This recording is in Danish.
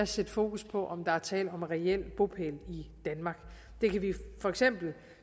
sætte fokus på om der er tale om reel bopæl i danmark det kan vi for eksempel